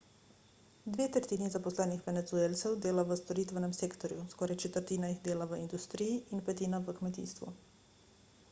dve tretjini zaposlenih venezuelcev dela v storitvenem sektorju skoraj četrtina jih dela v industriji in petina v kmetijstvu